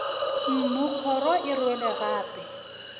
mmu kgoro e rwele gape